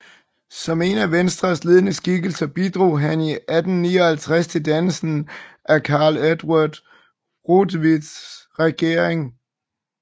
Som en af Venstres ledende skikkelser bidrog han i 1859 til dannelsen af Carl Eduard Rotwitts regering